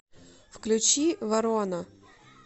включи ворона